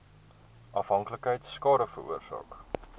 afhanklikheid skade veroorsaak